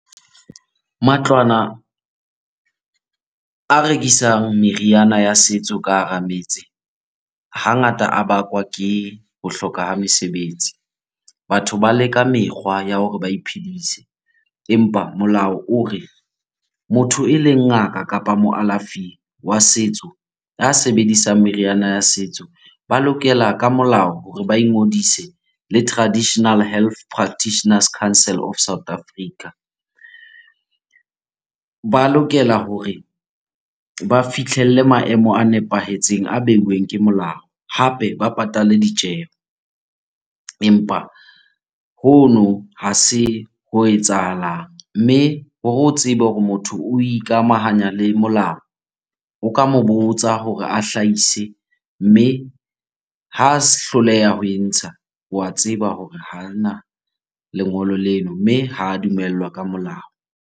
Matlwana a rekisang meriana ya setso ka hara metse. Hangata a bakwa ke ho hloka ha mesebetsi. Batho ba leka mekgwa ya hore ba iphedise empa molao o re, motho eleng ngaka kapa mokalafi wa setso ya sebedisang meriana ya setso, ba lokela ka molao hore ba ingodise le Traditional Health Practitioners Council of South Africa. Ba lokela hore ba fihlelle maemo a nepahetseng a beuweng ke molao hape ba patale ditjeho empa hono ha se ho etsahalang. Mme hore o tsebe hore motho o ikamahanya le molao, o ka mo botsa hore a hlahise mme ha hloleha ho e ntsha, wa tseba hore hana lengolo lena mme ha dumellwa ka molao.